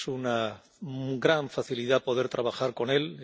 Es una gran facilidad poder trabajar con él.